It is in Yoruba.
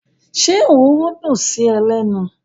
Ṣé ororo dùn sí ẹ lẹ́nu?